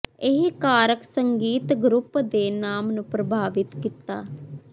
ਇਹ ਕਾਰਕ ਸੰਗੀਤ ਗਰੁੱਪ ਦੇ ਨਾਮ ਨੂੰ ਪ੍ਰਭਾਵਿਤ ਕੀਤਾ